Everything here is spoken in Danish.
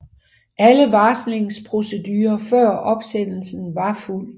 Alle varslingsprocedurer før opsendelsen var fulgt